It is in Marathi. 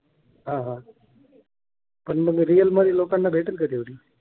हा हा पण मग रियल मध्ये लोकांना भेटेल का तेवढी?